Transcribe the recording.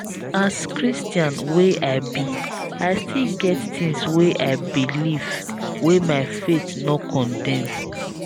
as christian wey i be i still get tins wey i belif wey my faith no condem